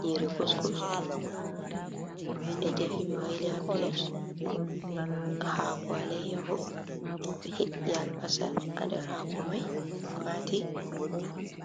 Nyiri kusku, ɓe defi ɓe waili ha pilet, hako allayaho be he'i albasa ha ndar hako mai mati,